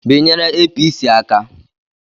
Binyere Apc aka!